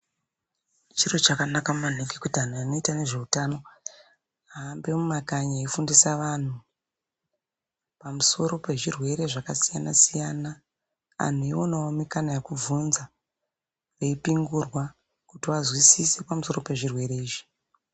Chiro chakanaka maningi kuti antu anoita nezvehutano ahambe mumakanyi eifundisa antu pamusoro pezvirwere zvakasiyana-siyana antu eionawo mikana yekuvhunza veipingurwa kuti vazwisise pamusoro pezvirwere izvi.